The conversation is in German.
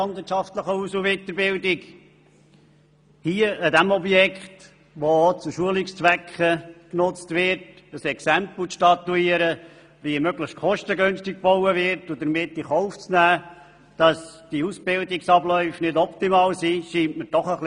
Es erscheint mir jedoch verfehlt, an diesem Objekt, welches auch zu Schu lungszwecken genutzt wird, ein Exempel zu statuieren, möglichst kostengünstig zu bauen und dabei in Kauf zu nehmen, dass die Ausbildungsabläufe nicht mehr optimal sind.